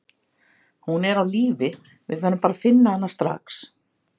Hún er á lífi, við verðum bara að finna hana strax.